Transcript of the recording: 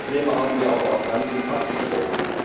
Die Probleme haben wir aber erkannt und abgestellt.